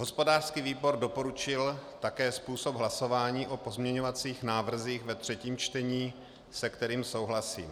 Hospodářský výbor doporučil také způsob hlasování o pozměňovacích návrzích ve třetím čtení, se kterým souhlasím.